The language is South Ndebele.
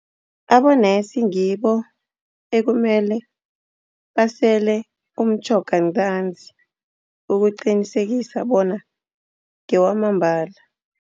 Abonesi ngibo ekumele basele umtjhoga ntanzi, ukuqinisekisa bona ngewamambala.